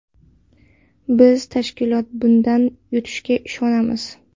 Biz tashkilot bundan yutishiga ishonamiz.